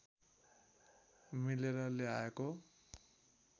मिलेर ल्याएको